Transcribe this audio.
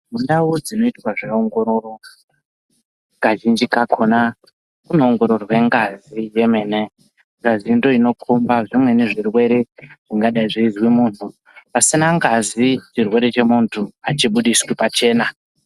Mundau dzinoitea zveongororo kazhinji kakona kunoongororwe ngazi yemene, ngazi ndoinokomba zvimweni zvirwere zvingadai zveizwe muntu pasina ngazi chirwere chemuntu achibudiswi pachena.